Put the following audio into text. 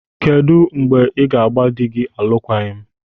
Kedụ mgbe ị ga gba dị gị alụkwaghịm?